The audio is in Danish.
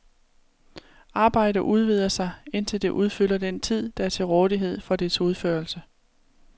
Arbejde udvider sig, indtil det udfylder den tid, der er til rådighed for dets udførelse.